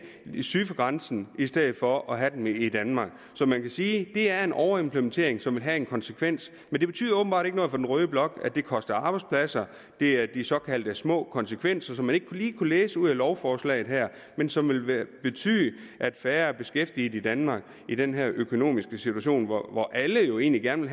syd for grænsen i stedet for at have den i danmark så man kan sige at det er en overimplementering som vil have en konsekvens men det betyder åbenbart ikke noget for den røde blok at det koster arbejdspladser det er de såkaldt små konsekvenser som man ikke lige kunne læse ud af lovforslaget her men som vil betyde at færre er beskæftiget i danmark i den her økonomiske situation hvor alle jo egentlig gerne